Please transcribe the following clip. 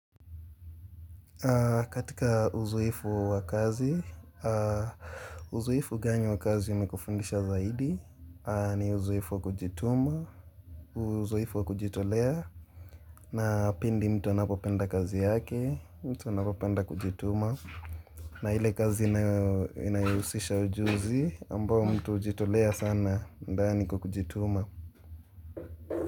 Katika uzoefu wakazi, uzuefu gani wakazi ume kufundisha zaidi, ni uzoefu kujituma, uzoeifu kujitolia, na pindi mtua anapo penda kazi yake, mtua napa penda kujituma, na hili kazi na yahusisha ujuzi, ambao mtua hujitolea sana, ndani kujituma.